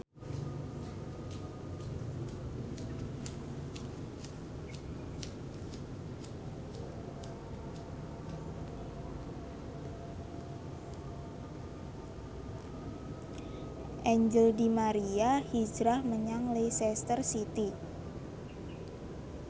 Angel di Maria hijrah menyang Leicester City